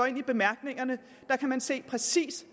i bemærkningerne kan man se præcis